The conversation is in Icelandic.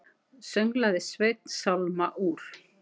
Sönglaði Sveinn sálma úr